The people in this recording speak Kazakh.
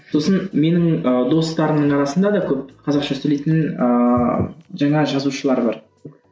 сосын менің ы достарымның арасында да көп қазақша сөйлейтін ыыы жаңа жазушылар бар